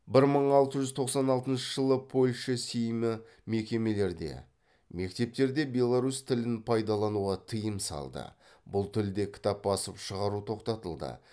бір мың алты жүз тоқсан алтыншы польша сеймі мекемелерде мектептерде беларусь тілін пайдалануға тыйым салды бұл тілде кітап басып шығару тоқтатылды